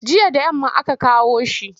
Jiya da yamma aka kawo shi.